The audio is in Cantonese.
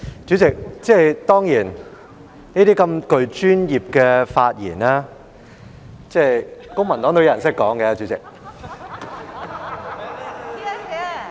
主席，當然，涉及專業範疇的發言，公民黨也有議員懂得說。